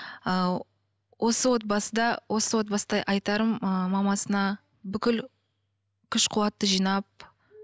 ыыы осы отбасыда осы отбасыда айтарым ы мамасына бүкіл күш қуатты жинап